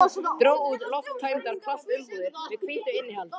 Dró út lofttæmdar plastumbúðir með hvítu innihaldi.